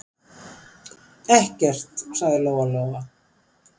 Ekkert, sagði Lóa-Lóa.